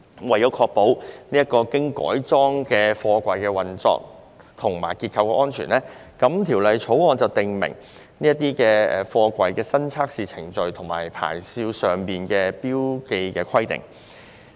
為確保此等經改裝的貨櫃的運作和結構安全，《條例草案》訂明該等貨櫃的新測試程序和牌照上的標記規定。